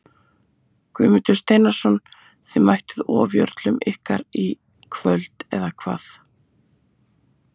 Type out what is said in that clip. Guðmundur Steinarsson Þið mættuð ofjörlum ykkar í kvöld eða hvað?